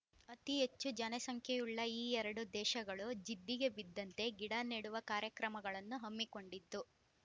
ಅತಿ ಹೆಚ್ಚು ಜನಸಂಖ್ಯೆಯುಳ್ಳ ಈ ಎರಡೂ ದೇಶಗಳೂ ಜಿದ್ದಿಗೆ ಬಿದ್ದಂತೆ ಗಿಡ ನೆಡುವ ಕಾರ್ಯಕ್ರಮಗಳನ್ನು ಹಮ್ಮಿಕೊಂಡಿತ್ತು